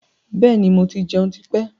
Bẹ́ẹ̀ni, mo ti jẹun tí pẹ́.